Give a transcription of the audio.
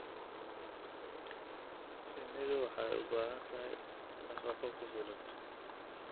Shinnidu waxay u baahan tahay nafaqo ku filan.